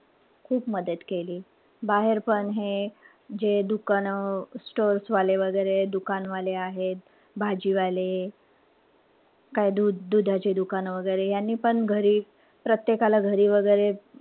खूप मदत केली. बाहेर पण हे जे दुकानं, stores वाले वगैरे दुकान वाले आहेत. भाजीवाले काई दुध दुधाची दुकानं वगैरे. यांनी पण घरी प्रत्येकाला घरी वगैरे,